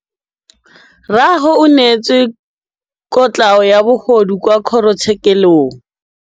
Rragwe o neetswe kotlhaô ya bogodu kwa kgoro tshêkêlông.